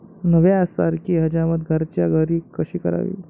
न्हाव्यासारखी हजामत घरच्या घरी कशी करावी?